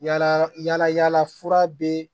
Yala yala fura be